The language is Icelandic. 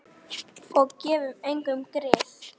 Og gefum engum grið.